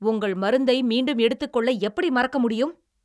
உங்கள் மருந்தை மீண்டும் எடுத்துக்கொள்ள எப்படி மறக்க முடியும்?